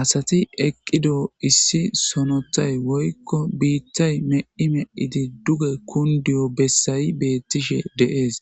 asati eqqido issi sonothay woykko biittay me7i me7idi duge kundiyo bessayi beettishe de7es